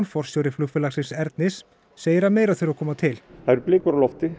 forstjóri flugfélagsins Ernis segir að meira þurfi að koma til það eru blikur á lofti